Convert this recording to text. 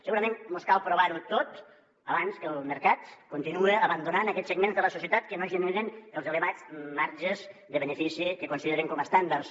segurament mos cal provar ho tot abans que el mercat continue abandonant aquests segments de la societat que no generen els elevats marges de benefici que consideren com estàndards